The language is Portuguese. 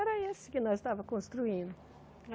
Era esse que nós estávamos construindo.